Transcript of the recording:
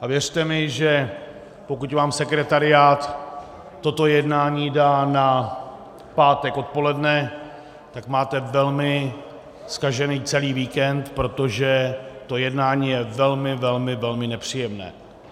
A věřte mi, že pokud vám sekretariát toto jednání dá na pátek odpoledne, tak máte velmi zkažený celý víkend, protože to jednání je velmi, velmi, velmi nepříjemné.